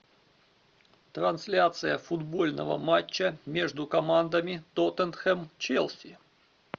трансляция футбольного матча между командами тоттенхэм челси